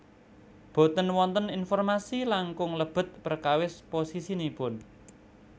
Boten wonten informasi langkung lebet perkawis posisinipun